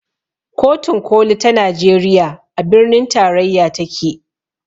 Kotun koli ta najeriya a birnin tarayya take